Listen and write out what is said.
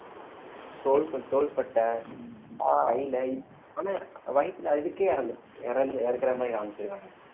soul~ தோள்பட்டை கையில ஆனா வயித்துல அதுக்கே இறந்திடுவான் இறந்~ இறக்கிற மாதிரி காமிச்சிருக்கானுங்க